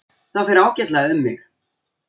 Það fer ágætlega um mig.